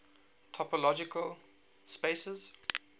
topological spaces